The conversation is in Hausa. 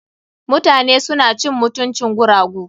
Mutane suna cin mutuncin guragu.